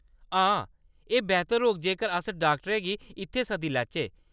हां, एह्‌‌ बेह्‌तर होग जेकर अस डाक्टरै गी इत्थै सद्दी लैचै।